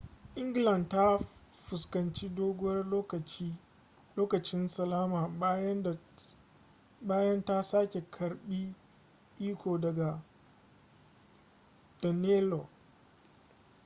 england ta fuskanci doguwar lokacin salama bayan ta sake karbe iko daga danelaw